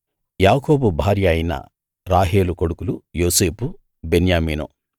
యాకోబు భార్య అయిన రాహేలు కొడుకులు యోసేపు బెన్యామీను